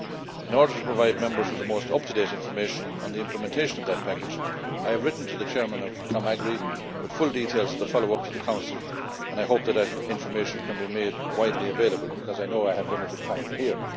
In order to provide Members with the most up to date information on the implementation of that package, I have written to the Chair of AGRI with full details of the follow up to the Council, and I hope that the information can be made widely available, because I know I have limited time here.